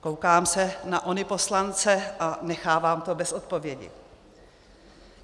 Koukám se na ony poslance a nechávám to bez odpovědi.